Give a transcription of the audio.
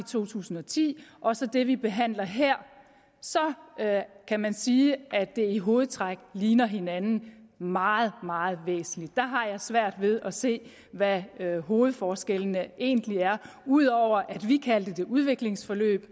to tusind og ti og så det vi behandler her så kan man sige at de i hovedtræk ligner hinanden meget meget der har jeg svært ved at se hvad hovedforskellene egentlig er ud over at vi kaldte det udviklingsforløb